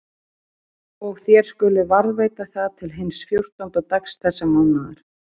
Og þér skuluð varðveita það til hins fjórtánda dags þessa mánaðar.